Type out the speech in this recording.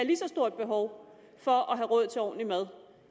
lige så stort behov for at have råd til ordentligt mad